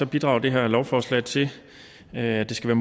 bidrager det her lovforslag til at det skal